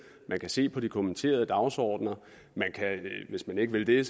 man kan se på de kommenterede dagsordener og hvis man ikke vil det